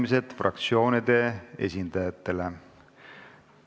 Avan fraktsioonide esindajate läbirääkimised.